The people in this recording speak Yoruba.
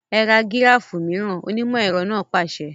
Ẹ ra gíráfù mìíràn! onímọ̀ ẹ̀rọ náà pàṣẹ.